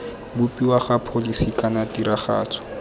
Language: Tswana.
bopiwa ga pholisi kana tiragatso